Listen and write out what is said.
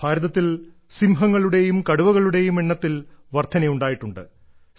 ഭാരതത്തിൽ സിംഹങ്ങളുടേയും കടുവകളുടേയും എണ്ണത്തിൽ വർദ്ധനയുണ്ടായിട്ടുണ്ട്